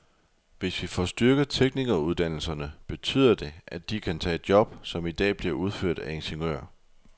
Hvis vi får styrket teknikeruddannelserne, betyder det, at de kan tage job, som i dag bliver udført af ingeniører.